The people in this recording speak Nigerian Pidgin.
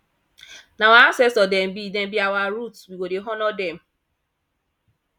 na our ancestor dem be dem be our root we go dey honour dem